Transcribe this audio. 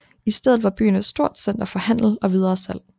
I stedet var byen et stort center for handel og videresalg